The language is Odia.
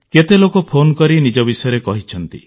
କେତେ ଲୋକ ଫୋନ୍କରି ନିଜ ବିଷୟରେ କହିଛନ୍ତି